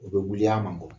U bɛ wuli a man nɔgɔn